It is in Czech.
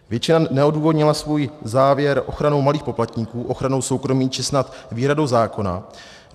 Většina neodůvodnila svůj závěr ochranou malých poplatníků, ochranou soukromí či snad výhradou zákona.